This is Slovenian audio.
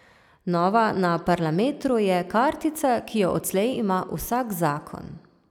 Nova na Parlametru je kartica, ki jo odslej ima vsak zakon.